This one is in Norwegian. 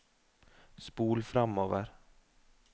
spol framover